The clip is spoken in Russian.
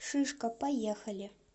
шишка поехали